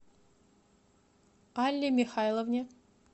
алле михайловне